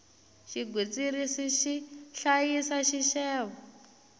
xigwitsirisi xi hlayisa xixevo